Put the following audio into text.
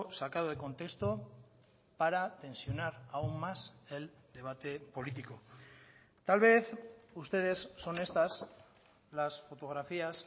sacado de contexto para tensionar aún más el debate político tal vez ustedes son estas las fotografías